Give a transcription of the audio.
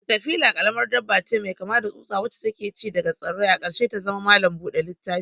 Katafila karamar dabba ce mai kama da tsutsa wacce ke ci daga tsirrai, a ƙarshe ta zama malam buɗe littafi.